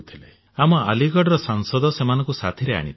ଆମ ଆଲିଗଡର ସାଂସଦ ସେମାନଙ୍କୁ ସାଥୀରେ ଆଣିଥିଲେ